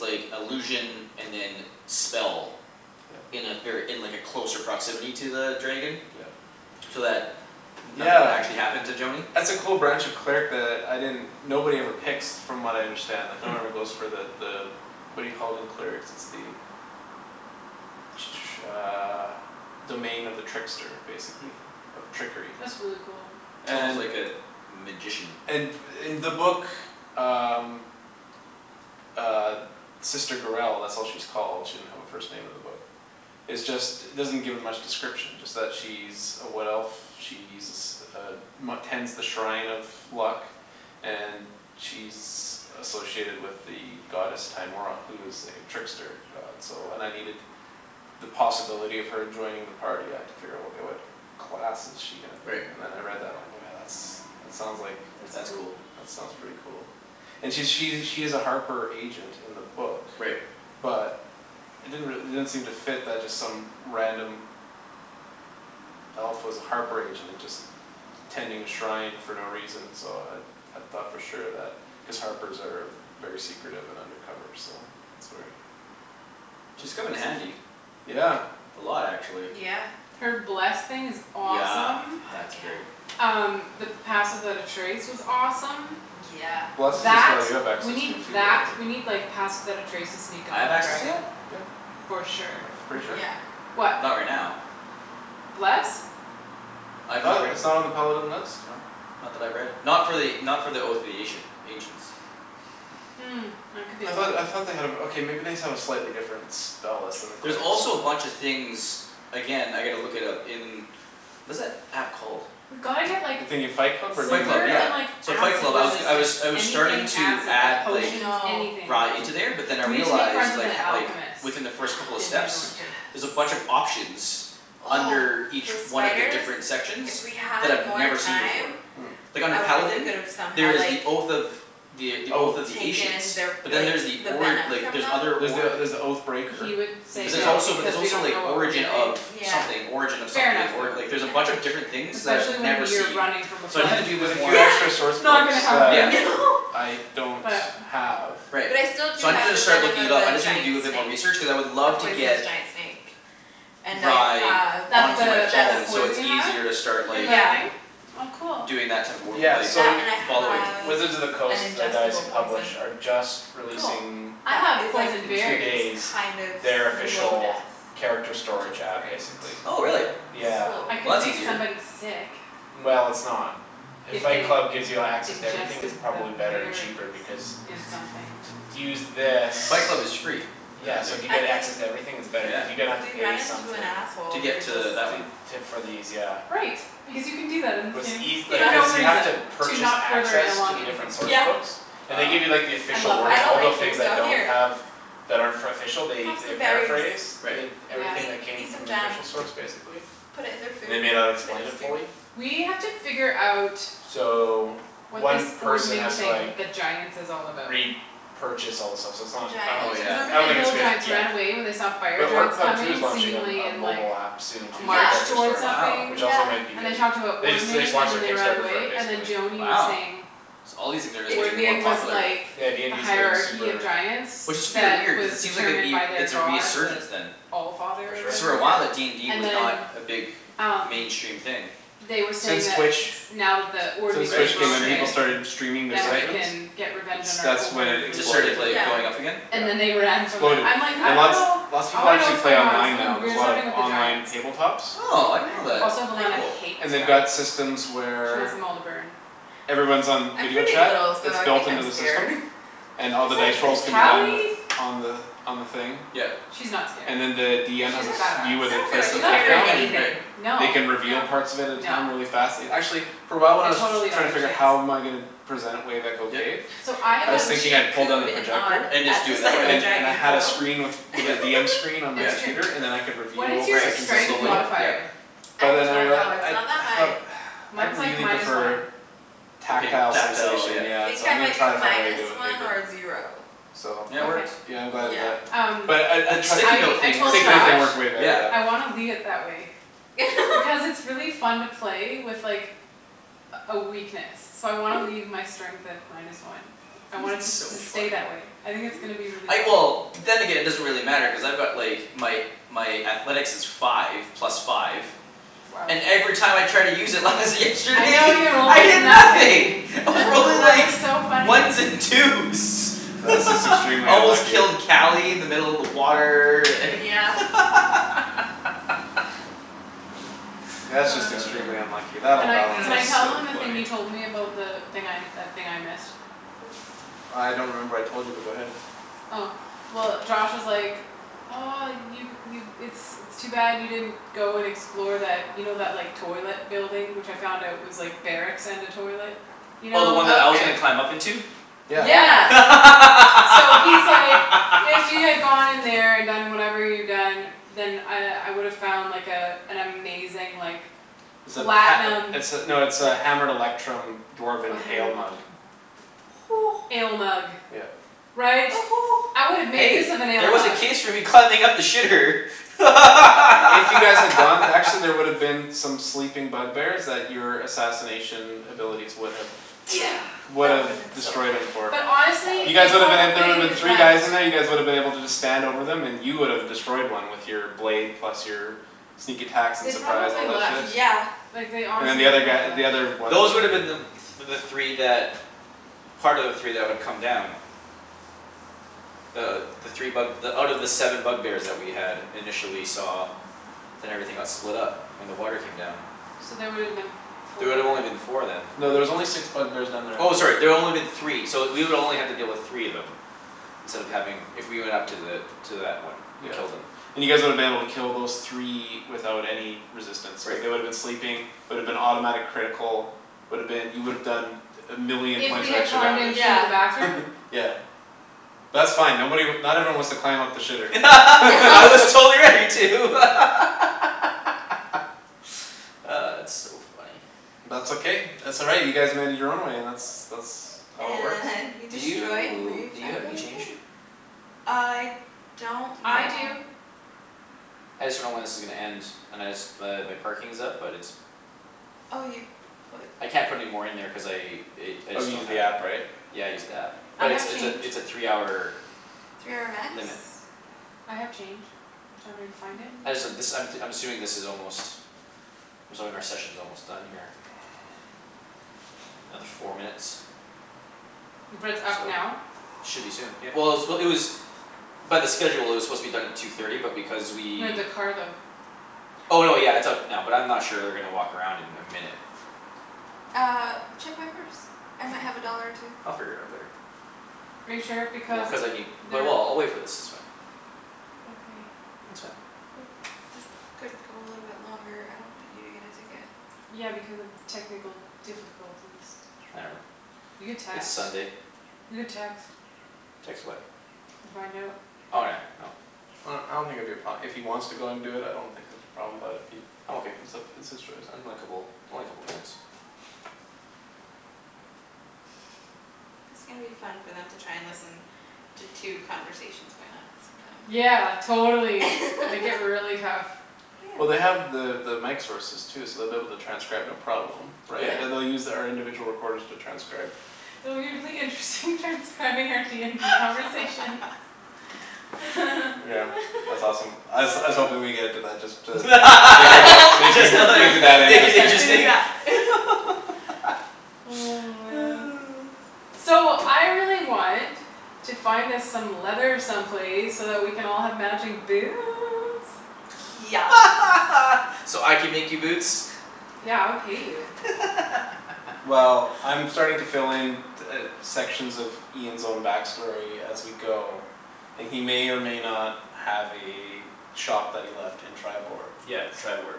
like illusion and then spell. Yeah. In a ver- in like a closer proximity to the dragon. Yeah So that nothing would actually Yeah happen to Joany. that's a cool branch of cleric that I didn't Nobody ever picks from what I understand like No Hmm one ever goes for the the What do you call it in clerics it's the Uh Domain of the trickster Hmm basically. Of trickery. That's really cool. It's almost like And Mhm a magician. And in the book uh Uh Sister Gurell that's what she's called she didn't have her first name in the book. Is just doesn't give me much description it's just she's A wood elf. She's uh Tends the shrine of luck And she's Associated with the goddess Timora who is like a trickster god so and I needed The possibility of her joining the party I had to figure out okay what Class is she gonna be Right. and then I read that line oh yeah that's that sounds like That's That's cool. cool. That sounds pretty Mhm. cool And she she's a harper agent in the book Right. But It didn't re- it didn't seem to fit that just some random Elf was a harper agent and just Tending a shrine for no reason so uh I thought for sure that cuz harpers are Very secretive of undercover so that's where She's Tha- come in that seems like handy. yeah A lot actually. Yeah Her bless thing is Yeah awesome. Fuck that's yeah great. Um the pass without a trace was awesome Yeah Bless is a That spell you have we access need to too though that right we Ye- need like pass without a trace to sneak I up have on a access to dragon. that? Yeah For sure. That's pretty sure Yeah What? Not right now Bless? I I'm not thought right it it's not on the paladin list? Not that I've read. Not for the not for the oath of the Asian ancients. Hmm, that could be I a thought lie. I thought they had a okay maybe they just have a slightly different Spell list than the There's clerics also a bunch of things Again I gotta look it up in Was that app called? We've gotta get like The thing in Fight Club or Fight Club DND silver yeah. and like beyond? So Fight Acid Club. I was g- I was resistance. I was starting Anything to acid. add Like I like potions, know. anything. Rye into there but then I We need to make friends realized with like an h- like alchemist Within the first couple of in steps Neverwinter. There's a Yes bunch of options Oh Under each those one of the spiders different sections If we That had I've more never seen before. time Hmm Like under I wonder if we Paladin, could've there somehow is like the oath of The oath of Oath the ancients. Taken their But then like Yeah there's the the ori- venom like from there's them other There's the org there's the oath breaker He would Did you say But see there's that one? that also there's because we also don't like know what we're origin of doing Yeah Something origin of Fair something enough or- Yeah like though. there's a bunch of different things for sure that I've Especially when never you're seen. running from a There's So I need to flood. a do a there's bit a more few extra Yeah source Not books gonna yeah that happen. I don't But have Right. But I still do So i needed have Which to the start venom looking of it up. I the just need to giant do a bit more snake research cuz I would A love to poisonous get giant snake And I Rye have an That's onto my the the phone ingest so it's poison you have easier to start in like the yeah thing? Oh cool Doing that type of wor- Yeah like That so and I following. have Wizards of the an Coast the guys ingestible who poison. publish are just Cool. Releasing I That have is like poison in two berries. days kind of Their slow official death character Which is storage app great. basically. Oh really. Yeah Slow I Well painful could that's make easier. death. somebody sick Well it's not If If Fight they Club gives you access to everything it's ingested the probably better and cheaper berries because in something. To to use this Fight Club is free Yeah currently so if you I get access mean to everything it's better Yeah cuz you're gonna have to We pay run into an something. To asshole we get could just to that one To to for these yeah. Right, because you can do that in this What's game. eas- For Yeah no cuz you have to reason. To Purchase not further access to along the anything. different source Yeah books And they Ah give you like the I official love I wording that. don't all like the you things so that don't here have That are for official they Have they some berries, paraphrase Right Yeah everything eat that came eat some from the jam official source basically. Put it in their And they food. may not Put it explain in it stew. fully. We have to figure out So What this One person ordening has to thing like with the giants is all about. re-purchase all the stuff so it's The not I don't Oh think it's giants? Cuz good yeah. remember I the don't think it's hill good giants ran yet. away when they saw The fire orc giants pub too is coming launching a seemingly a in like mobile app Soon A too Yeah for march character toward storage Wow which something yeah also might be And they good talked about They just they just ordening and launched their then they ran Kickstarter for it away, and then basically. Joany was Wow saying so all these things are like It's getting more weird Ordening cuz was popular. like Yeah The DND's getting hierarchy of super giants Which is fear That weird cuz was it seems like it'd determined be by their it's a god resurgence the then. For Allfather or sure. Cuz for whatever a while uh Yeah DND and was not then a big Um mainstream thing they were saying Since that Twitch Now that the since ordening Right is Twitch came in people streaming broken started streaming their Yeah Then we right sessions. can get revenge It's on our that's when over it It just rulers exploded. started or like whatever. going up Yeah again? And then they Yeah ran from them. Exploded I'm like, "I and dunno. lot Lots of I people wanna know actually what's play going on." online Something now. There's a weird's lot of happening with the online giants. tabletops Oh I I didn't know that. Also didn't like Velana Cool. hates They've got giants. systems She wants where them all to burn. Everyone's on I'm video pretty little chat. so It's I built think into I'm the scared. system And She's all the like dice this rolls can be tough done with Cali On the on the thing Yep She's not scared. And then the DM has She's a s- badass. view where I they don't feel place like the You're she's not mat scared of afraid of down and anything. Right anything. No. They can No reveal parts of it at a No. time really fast and actually For a while when I I was totally don't trying to think figure she is. how am I gonna Present it wave echo Yep cave So I I I was have mean thinking she I'd pull down the cooed and awwed projector And at just do the it that sight of a way. And and I dragon had a so screen with With a Yep DM screen on the It's yep true. computer and then I could What is Reveal Right your sections as we strength go slowly yep modifier? I But then I don't rea- know, it's I not that I high. thought I'd Mine's like really minus prefer one. The pap- tactile tactile sensation yep I yeah think so I I'm gonna might be try to find a way to minus do it with one or paper. zero. So Yeah it Okay works yeah I'm glad I did Yeah that. Um But I I The sticky trie- I note I thing works told Josh Sticky great note thing I was way better yeah yeah. wanna leave it that way. Because it's really fun to play with like A a weakness. So I wanna leave my strength at minus one. I want it It's to so s- stay funny. that way. I think it's gonna be really I fun. well then again Yeah it doesn't really matter cuz I've got like My my athletics is five plus five Wow And every time I tried to use it lies I yesterday know you rolled I like hear nothing. nothing. I was rolling That like was so funny. Ones and twos That's just extremely I almost unlucky. killed Cali in the middle of the water and Oh yeah That's just extremely unlucky. That'll Can I balance can I tell out. So them the thing funny you told me about the thing I that thing I missed? Oh I don't remember what I told you but go ahead. Oh well Josh was like, "Oh you you it's it's too bad you didn't go and explore that." You know that like toilet building which I found out was like Barracks and a toilet? You Oh the one know? that I was Okay gonna climb up into? Yeah Yeah. Yeah So he's like, "If you had gone in there and done whatever you'd done." Then I I would've found like a An amazing like It's a Platinum pat- it's a no it's like a hammered electrum Oh dwarven hammer ale mug. electrum Ale mug. Yeah Right? I would've made Hey use of an ale there was a mug. case for me climbing up the shitter If you guys had gone actually there would've been some sleeping bug bears that your assassination abilities would have Yeah that woulda been Would've so destroyed 'em for But That honestly, You woulda guys they woulda been been a- so there woulda been probably three guys left. in there you guys woulda been able to just Stand over 'em and you would've destroyed one with Your blade plus your Sneak attacks and They surprise all probably that left. shit. Yeah Like they And the honestly they other guy probably the other left. ones Those would woulda them the the three that Part of the three that would come down Uh the three bug out of the seven bug bears that we had initially saw Then everything got split up when the water came down. So they woulda been There four would've only been four then. No there's only six bug bears down there in Oh total. sorry there only been three so we would only have to deal with three of them Instead of having if we went up to the to that one and Yeah killed 'em. and you guys woulda been able to kill those three Without any resistance cuz Right they woulda been sleeping Would've been automatic critical Would've been you would've done A million If points we of had extra climbed in damage through Yeah the bathroom? Yeah That's fine nobody not everyone wants to climb up the shitter I was totally ready to It's so funny. That's okay that's all right you guys made it your own way that's that's how it works. And we Do destroyed you Wave do you have any Echo change? Cave. I don't I know do I just dunno when this is gonna end and I just but my parking is up but it's Oh you put I can't put any more in there cuz I i- I Oh just you don't used the have app right? Yeah I used the app I but it's have it's a change. it's a three hour Three hour max limit I have change. Do you want me to go find it? I just uh this Yeah I'm t- I'm assuming this is almost I'm assuming our session's almost done here Another four minutes. But it's Or so. up now? Should be soon yeah. Well it was it was by the schedule it was supposed to be done at two thirty but because we No the car though. Oh no yeah it's up now but I'm not sure they're gonna walk around in a minute. Uh check my purse. I might have a dollar or two. I'll figure it out later. Are you sure? Well Because cuz I need but they're well I'll wait for this it's fine. Okay It's fine. Well this could go a little longer I don't want you to get a ticket. Yeah because of technical difficulties. Whatever, You could it's text. Sunday. You could text. Text what? And find out Oh yeah no Well I don't think it'd be a pro- if he wants to do it I don't think it'd be a problem but if he I'm okay. it's up it's his choice. Unlikeable it's only a couple minutes. It's gonna be fun for them to try and listen to two conversations going on at the same time. Yeah totally make it really tough. Well they Yeah have the the mic sources too so they'll be able to transcribe no problem Yeah. Yeah Right they they'll use our individual recorders to transcribe. Oh it'll be really interesting transcribing out DND conversations. Yeah that's awesome. I was I was hoping we would get into that just to make it that make you Just to like make it that make it interesting. interesting Yeah Oh man So I really want to find us some leather some place so that we can all have matching boots. Yes So I can make you boots? Yeah I would pay you. Well I'm starting to fill in t- uh sections of Ian's own back story as we go And he may or may not Have a shop that he left in Triboar. Yeah Triboar